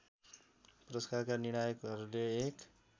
पुरस्कारका निर्णायकहरूले एक